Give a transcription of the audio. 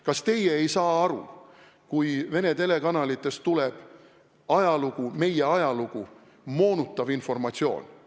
Kas teie ei saa aru, kui Vene telekanalitest tuleb meie ajalugu moonutav informatsioon?